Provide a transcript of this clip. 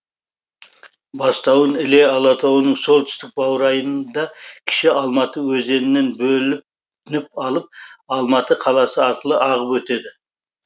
бастауын іле алатауының солтүстік баурайында кіші алматы өзенінен бөлініп алып алматы қаласы арқылы ағып өтеді